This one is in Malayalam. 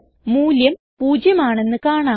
മൂല്യം പൂജ്യം ആണെന്ന് കാണാം